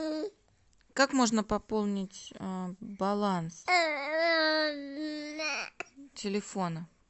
как можно пополнить баланс телефона